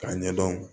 K'a ɲɛdɔn